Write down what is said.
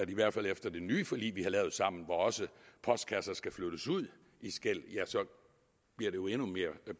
i hvert fald efter det nye forlig vi har lavet sammen hvor også postkasser skal flyttes ud i skel bliver endnu mere